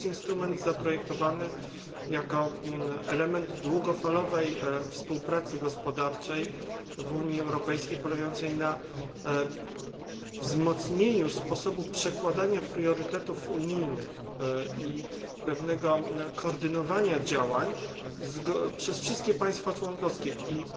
Jest to instrument pomyslany jako element długofalowej współpracy gospodarczej w Unii Europejskiej, polegający na wzmocnieniu sposobu przekładania priorytetów unijnych i koordynowania działań przez wszystkie państwa członkowskie i